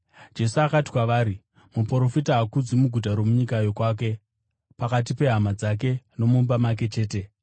Jesu akati kwavari, “Muprofita haakudzwi muguta romunyika yokwake, pakati pehama dzake, nomumba make chete.”